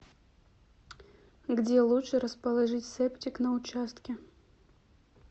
где лучше расположить септик на участке